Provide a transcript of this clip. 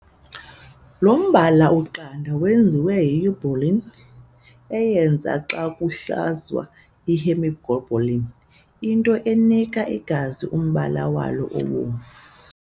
Lo mbala uqanda wenziwa yiurobilins, eyenziwa xa kuhluzwa ihemoglobin, into enika igazi umbala walo obomvu.